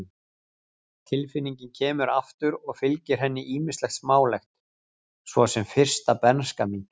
Tilfinningin kemur aftur og fylgir henni ýmislegt smálegt, svo sem fyrsta bernska mín.